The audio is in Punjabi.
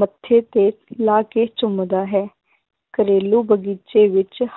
ਮੱਥੇ ਤੇ ਲਾ ਕੇ ਚੁੰਮਦਾ ਹੈ, ਘਰੇਲੂ ਬਗ਼ੀਚੇ ਵਿੱਚ